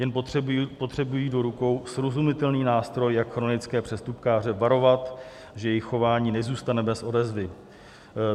Jen potřebují do rukou srozumitelný nástroj, jak chronické přestupkáře varovat, že jejich chování nezůstane bez odezvy.